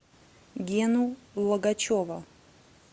гену логачева